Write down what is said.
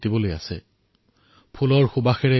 हर अँधेरे को उजाले में बुलाना है मुझे